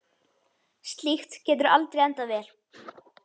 Slíkt getur aldrei endað vel.